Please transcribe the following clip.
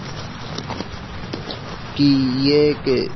कि ये कि।